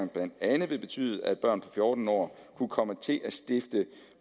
blandt andet ville betyde at børn på fjorten år kunne komme til at stifte